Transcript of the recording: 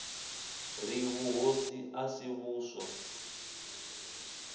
ri vhuhosi a si vhuswa